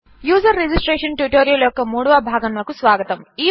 user registration tutorial యొక్క 3వ భాగమునకు స్వాగతం